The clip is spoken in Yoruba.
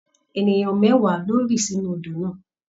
Ènìyàn mẹ́wàá ló rì sínú odò náà.